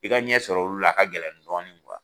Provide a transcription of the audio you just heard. I ka ɲɛsɔrɔ olu la a ka gɛlɛn dɔɔni